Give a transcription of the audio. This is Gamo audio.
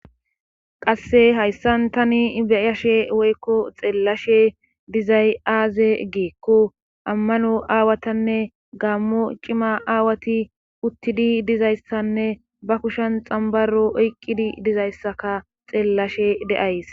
qasse hayssan tani beyashe woykko xeellashe dizay aaze geekko ammano aawatanne gaammo cima aawati uttidi dizayssanne ba kushan xambaro oyqqidi dizayssaka xeellashe de7ays